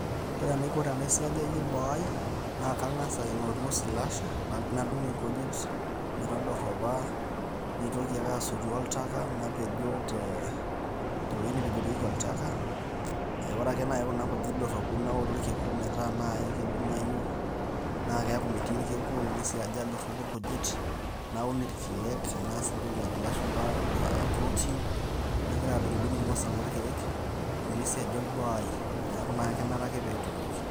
ore enaikotenaisiajayie boo ai naa kang'as aing'oru osilasha, nadung' nkujit metodoropa, naitoki ake asotu oltaka napejoo tee, tewueji nepejorieki oltaka ore ake naaji kuna kujit doropu naoru irkiku metaa naaji kidimayu naa keeku metii irkiku, nisiaja, doropu irkujit ,naun irkiek naas entoki najo lashumpa, eeh prooting, nagira adung'dung' irng'osil loorkiek omisiajau boo ai neeku naa kenare ake peetonieki